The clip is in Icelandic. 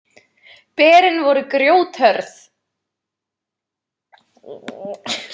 Berin voru grjóthörð.